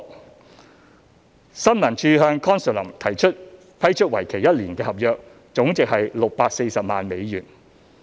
三新聞處向 Consulum 批出為期一年的合約，總值為640萬美元。